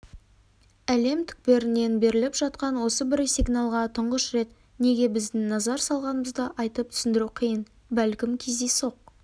әлем түкпірінен беріліп жатқан осы бір сигналға тұңғыш рет неге біздің назар салғанымызды айтып түсіндіру қиын бәлкім кездейсоқ